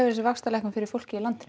þessi vaxtalækkun fyrir fólkið í landinu